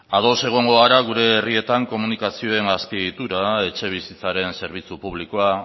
ados egongo gara gure herrietan komunikazioen azpiegiturak etxebizitzaren zerbitzu publikoa